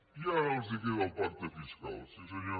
i ara els queda el pacte fiscal sí senyor